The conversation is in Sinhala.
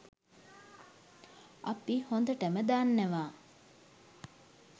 අපි හොඳටම දන්නවා